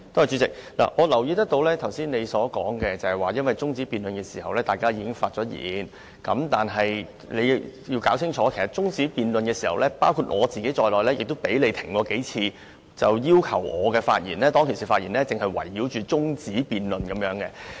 主席，我留意到你剛才說在中止待續議案辯論時大家已經發言，但你要弄清楚，在中止待續議案辯論時發言的議員，包括我在內，也被你叫停數次，要求我們的發言只能圍繞中止待續議案。